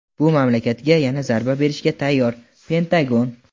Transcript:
bu mamlakatga yana zarba berishga tayyor – Pentagon.